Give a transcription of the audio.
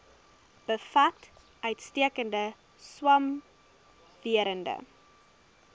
bevat uitstekende swamwerende